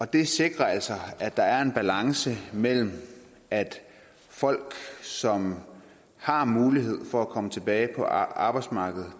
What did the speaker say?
det sikrer altså at der er en balance mellem at folk som har mulighed for at komme tilbage på arbejdsmarkedet